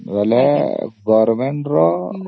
ଯଦି government ରୁ ନେବ